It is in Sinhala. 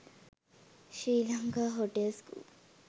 sri lanka hotel school